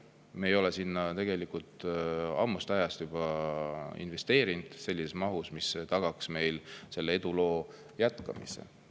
Me ei ole sinna tegelikult juba ammusest ajast investeerinud sellises mahus, mis tagaks selle eduloo jätkumise.